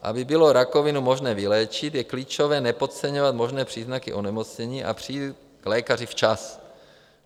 Aby bylo rakovinu možné vyléčit, je klíčové nepodceňovat možné příznaky onemocnění a přijít k lékaři včas.